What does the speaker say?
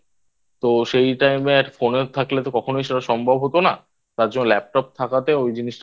তো সেই Time এ Phone এ থাকলে তো কখনোই সেটা সম্ভব হতো না তার জন্য Laptop থাকাতে ওই জিনিসটা